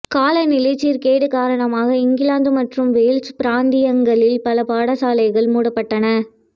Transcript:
காலநிலைச்சீர்கேடு காரணமாக இங்கிலாந்து மற்றும் வேல்ஸ் பிராந்தியங்களில் பல பாடசாலைகள் மூடப்பட்டன